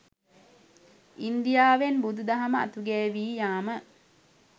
ඉන්දියාවෙන් බුදුදහම අතුගෑවී යාම